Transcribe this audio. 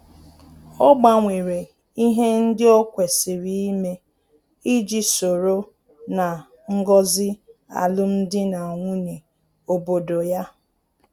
Ọ gbanwere ihe ndị o kwesịrị ime iji soro ná ngọzi alum dị na nwunye obodo ya